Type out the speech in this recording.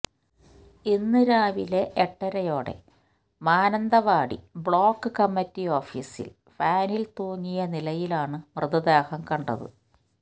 ഇന്ന് രാവിലെ എട്ടരയോയെ മാനന്തവാടി ബ്ളോക്ക് കമ്മിറ്റി ഓഫീസില് ഫാനില് തൂങ്ങിയ നിലയിലാണ് മൃതദേഹം കണ്ടത്